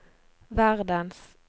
verdens